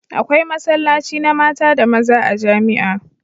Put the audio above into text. Akwai masallaci na mata da maza a jamia